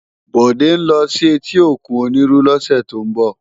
Bode n lò si éti ókún Oniru lòsè tó n bò